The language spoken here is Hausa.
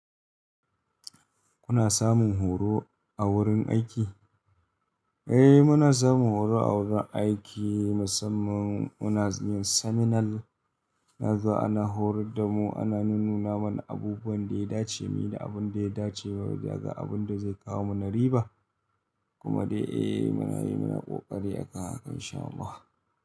Kuna samun horo a wurin aiki? Eh, muna samun horo a wurin aiki musamman muna yin seminar. Nazo ana horar da mu ana nunnuna mana abubuwan da ya dace muyi da abun da ya dace mu ba mu yi daga abun da zai kawo mana riba. Kuma dai eh muna yi muna ƙoƙari a kan haka in sha Allah.